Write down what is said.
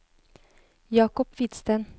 Jacob Hvidsten